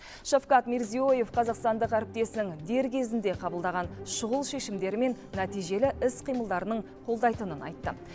шавкат мирзиёев қазақстандық әріптесінің дер кезінде қабылдаған шұғыл шешімдері мен нәтижелі іс қимылдарының қолдайтынын айтты